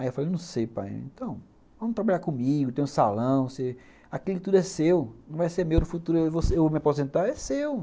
Aí eu falei, não sei pai, então vamos trabalhar comigo, tem um salão, você, aquilo tudo é seu, não vai ser meu no futuro, eu vou me aposentar, é seu.